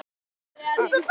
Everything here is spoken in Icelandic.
Svona var allt.